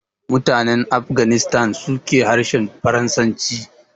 Mutanen Afghanistan su ke harshen Farasanci